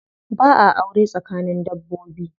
Ba'a aure tsakanin dabbobi.